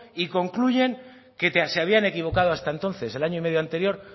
y concluyen que se habían equivocado hasta entonces el año y medio anterior